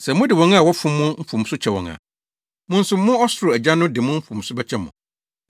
Sɛ mode wɔn a wɔfom mo mfomso kyɛ wɔn a, mo nso mo ɔsoro Agya no de mo mfomso bɛkyɛ mo.